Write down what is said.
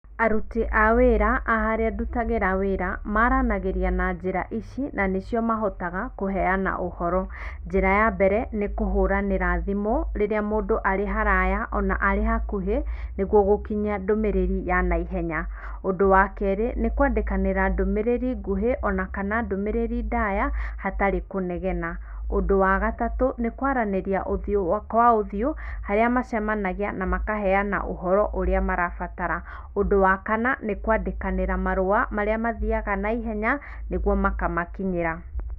Aruti a wĩra a harĩa ndutagĩra wĩra maranagĩria na njĩra ici na nĩcio mahotaga kũheana ũhoro. Njĩra ya mbere nĩ kũhũranĩra thimũ rĩrĩa mũndũ arĩ haraya ona arĩ hakuhĩ niguo gũkinyia ndũmĩrĩri yanaihenya. Ũndũ wa kerĩ nĩkwandĩkanĩra ndũmĩrĩri nguhĩ onakana ndũmĩrĩri ndaya hatarĩ kũnegena. Ũndũ wa gatatũ ni kwaranĩria ũthiũ kwa ũthiũ harĩa macemanagia na makaheana ũhoro ũrĩa marabatara. Ũndũ wa kana nĩ kwandĩkanĩra marũa marĩa mathiaga naihenya nĩguo makamakinyĩra.